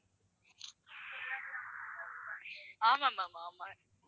ஆமா ma'am ஆமா